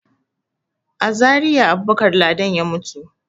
A Zariya Abubakar Ladan ya mutu.